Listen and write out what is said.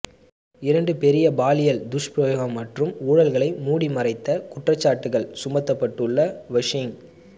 இரண்டு பெரிய பாலியல் துஷ்பிரயோகம் மற்றும் ஊழல்களை மூடிமறைத்த குற்றச்சாட்டுகள் சுமத்தப்பட்டுள்ள வொஷிங